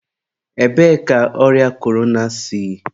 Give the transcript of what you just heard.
ebee ka ọrịa korona si?